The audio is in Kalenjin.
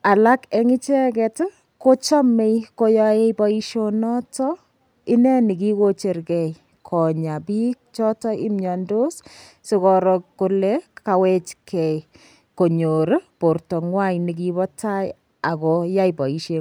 alak eng' icheget kochomei koyoei boishonoto ineni kikochergei Konya biik choto imyondos sikoro kole kawechgei konyor borto ng'wai nekibo tai akoyai boisheng'wai